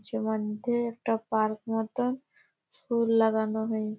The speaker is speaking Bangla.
চমধ্যা একটা পার্ক মতন ফুল লাগানো হয়েছে।